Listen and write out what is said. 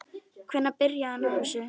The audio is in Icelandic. Hvenær byrjaði hann á þessu?